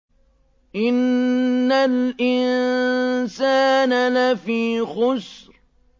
إِنَّ الْإِنسَانَ لَفِي خُسْرٍ